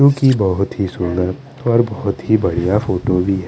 उनकी बोहोत ही सुन्दर और बोहोत ही बढ़िया फोटो भी है।